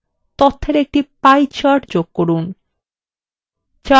তথ্যর একটি pie chart যোগ করুন